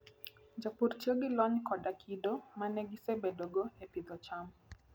Jopur tiyo gi lony koda kido ma ne gisebedogo e pidho cham.